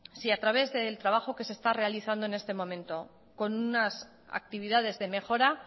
si a través del trabajo que se está realizando en este momento con unas actividades de mejora